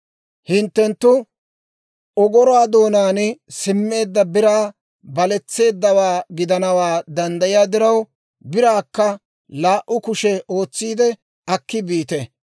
Hinttenttu ogoruwaa doonaan simmeedda biray baletseeddawaa gidanaw danddayiyaa diraw, biraakka laa"u kushe ootsiide akki biite.